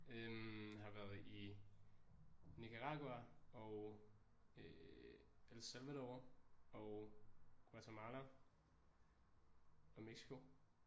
Øh har været i Nicaragua og øh El Salvador og Guatemala og Mexico